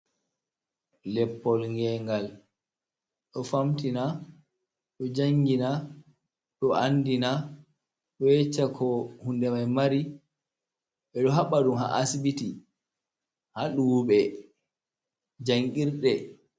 Leppol ngengal ɗo famtina, ɗo jangina, ɗo andina, ɗo ƴecca ko hunde mai mari, ɓe ɗo haɓɓa ɗum ha asbiti ha duwube jangirde.